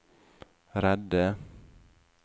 redde